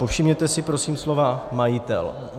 Povšimněte si prosím slova majitel.